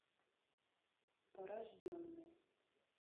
порожденный